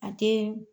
A tɛ